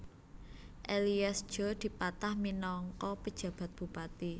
Elias Djo dipatah minangka penjabat bupati